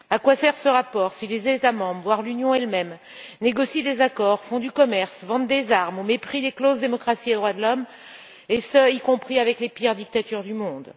À quoi sert ce rapport si les États membres, voire l'Union elle même, négocient des accords, font du commerce, vendent des armes au mépris des clauses démocratie et droits de l'homme et ce, y compris avec les pires dictatures du monde.